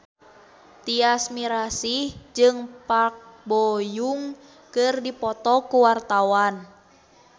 Tyas Mirasih jeung Park Bo Yung keur dipoto ku wartawan